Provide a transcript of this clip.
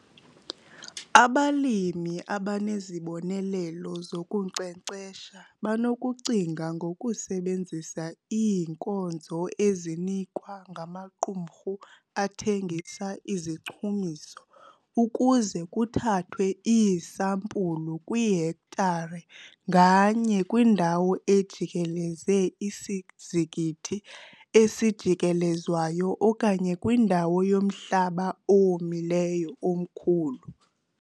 Abalimi abanezibonelelo zokunkcenkcesha banokucinga ngokusebenzisa iinkonzo ezinikwa ngamaqumrhu athengisa izichumiso ukuze kuthathwe iisampulu kwihektare nganye kwindawo ejikeleze isizikithi esijikelezwayo okanye kwindawo yomhlaba owomileyo omkhulu.